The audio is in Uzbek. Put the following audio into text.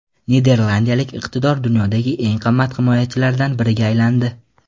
Niderlandiyalik iqtidor dunyodagi eng qimmat himoyachilardan biriga aylandi.